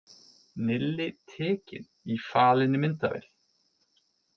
Nilli tekinn í falinni myndavél